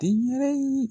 Denyɛrɛye